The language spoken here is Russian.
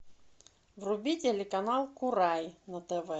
вруби телеканал курай на тв